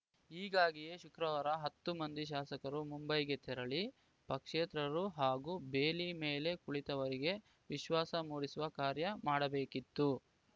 ಹೀಗಾಗಿಯೇ ಶುಕ್ರವಾರ ಹತ್ತು ಮಂದಿ ಶಾಸಕರು ಮುಂಬೈಗೆ ತೆರಳಿ ಪಕ್ಷೇತರರು ಹಾಗೂ ಬೇಲಿ ಮೇಲೆ ಕುಳಿತವರಿಗೆ ವಿಶ್ವಾಸ ಮೂಡಿಸುವ ಕಾರ್ಯ ಮಾಡಬೇಕಿತ್ತು